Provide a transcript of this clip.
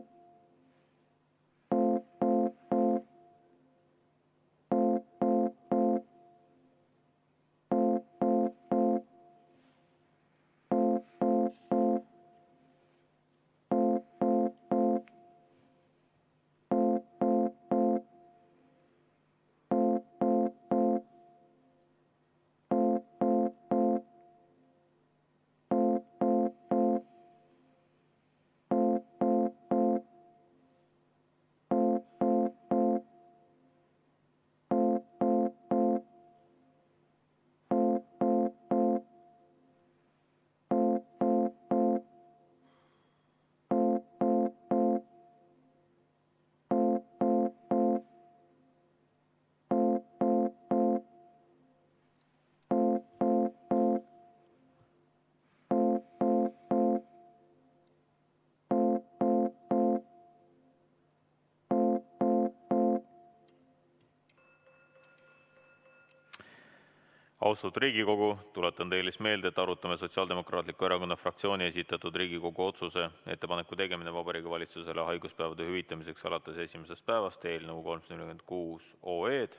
Austatud Riigikogu, tuletan teile meelde, et me arutame Sotsiaaldemokraatliku Erakonna fraktsiooni esitatud Riigikogu otsuse "Ettepaneku tegemine Vabariigi Valitsusele haiguspäevade hüvitamiseks alates esimesest päevast" eelnõu 346.